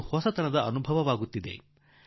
ಒಂದು ಹೊಸತನ ಅನುಭವಕ್ಕೆ ಬರುತ್ತಿದೆ